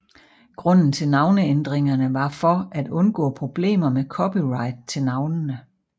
Grunden til navneændringerne var for at undgå problemer med copyright til navnene